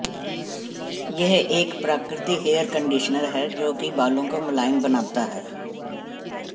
यह एक प्राकृति हेयर कंडीशनर है जो कि बालों को मुलायम बनाता है